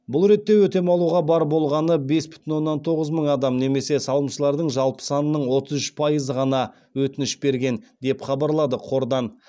бұл ретте өтем алуға бар болғаны бес бүтін оннан тоғыз мың адам немесе салымшылардың жалпы санының отыз үш пайызы ғана өтініш берген деп хабарлады қордан